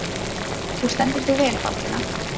Þú stendur þig vel, Baldvina!